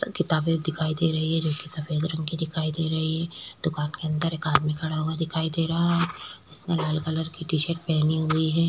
किताबे दिखाई दे रही है जो की सफ़ेद रंग की दिखाई दे रही है दुकान के अंदर एक आदमी खड़ा हुआ दिखाई दे रहा है उसने लाल कलर की टी शर्ट पहनी हुई है।